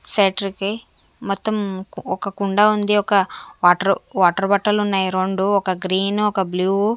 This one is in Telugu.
షట్టర్ కి మొత్తం ఒక కుండ ఉంది ఒక వాటర్ వాటర్ బాటిల్ ఉన్నాయి రెండు ఒక గ్రీన్ ఒక బ్లూ --